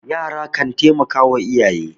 yara kan taimaka wa iyaye